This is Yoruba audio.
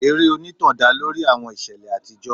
Eré onítàn dá lórí àwọn ìṣẹ̀lẹ̀ àtijọ́.